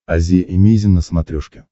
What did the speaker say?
азия эмейзин на смотрешке